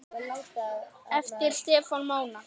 Eftir Stefán Mána.